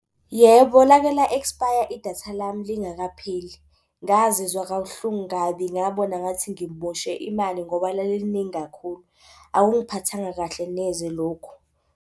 Yebo, lake la-expire idatha lami lingakapheli. Ngazizwa kabuhlungu kabi, ngabona ngathi ngimoshe imali ngoba laliliningi kakhulu. Akungiphathanga kahle neze lokho.